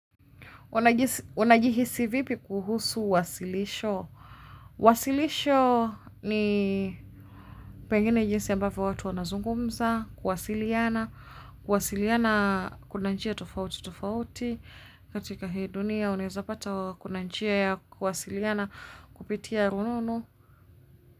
Unajihisi vipi kuhusu wasilisho? Wasilisho ni pengine jinsi ambavyo watu wanazungumza, kuwasiliana, kuwasiliana kuna njia tofauti tofauti, katika hii dunia uneza pata kuna njia ya kuwasiliana kupitia rununu.